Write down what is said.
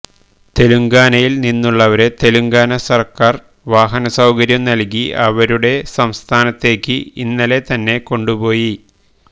തെലങ്കാനയിൽ നിന്നുള്ളവരെ തെലുങ്കാന സർക്കാർ വാഹനസൌകര്യം നൽകി അവരുടെ സംസ്ഥാനത്തേക്ക് ഇന്നലെ തന്നെ കൊണ്ടുപോയി